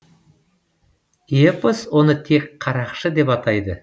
эпос оны тек қарақшы деп атайды